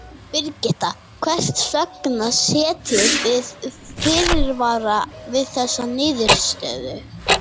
Birgitta, hvers vegna setjið þið fyrirvara við þessa niðurstöðu?